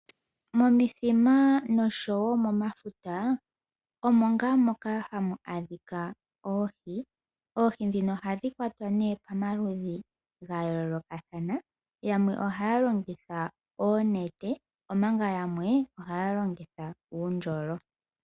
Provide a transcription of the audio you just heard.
Momithima noshowoo momafuta omo ngaa moka hamu adhika oohi. Oohi ndhino ohadhi kwatwa pamaludhi gayoolokathana. Yamwe ohaya longitha oonete omanga yamwe ohaya longitha uundjolo.